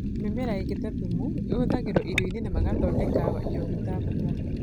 Mĩmera ĩngĩ ta thumu na thumu ĩhũthagĩrũo irio-inĩ na magathondekwo njoohi ta busaa.